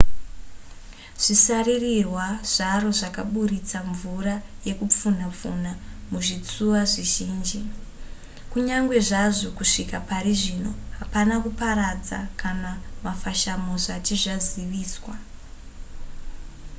zvisaririrwa zvaro zvakaburitsa mvura yekupfunha pfunha muzvitsuwa zvizhinji kunyange zvazvo kusvika pari zvino hapana kuparadza kana mafashamo zvati zvaziviswa